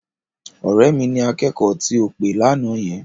Ọ̀rẹ́ mi ni akẹ́kọ̀ọ́ tí ò pè lánàá yẹn.